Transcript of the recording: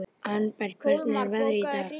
Arnberg, hvernig er veðrið í dag?